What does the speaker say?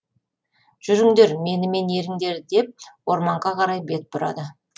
жүріңдер менімен еріңдер деп ормаңға қарай бет бұрады